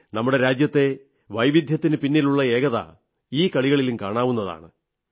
നമ്മുടെ രാജ്യത്തെ വൈവിധ്യത്തിനു പിന്നിലുള്ള ഏകത ഈ കളികളിലും കാണാവുന്നതാണ്